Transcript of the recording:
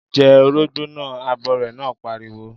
Jẹ orógbó naa! Abọrẹ̀ náà pariwo.